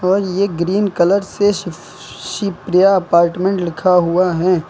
और ये green colour से स शश शिप्रिया अपार्टमेंट लिखा हुआ है।